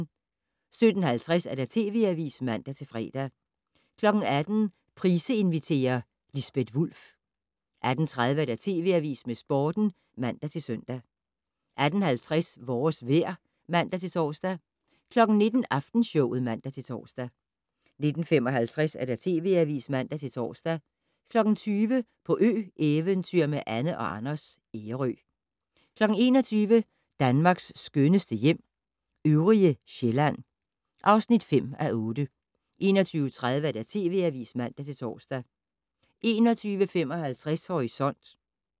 17:50: TV Avisen (man-fre) 18:00: Price inviterer - Lisbeth Wulf 18:30: TV Avisen med Sporten (man-søn) 18:50: Vores vejr (man-tor) 19:00: Aftenshowet (man-tor) 19:55: TV Avisen (man-tor) 20:00: På ø-eventyr med Anne & Anders - Ærø 21:00: Danmarks skønneste hjem - øvrige Sjælland (5:8) 21:30: TV Avisen (man-tor) 21:55: Horisont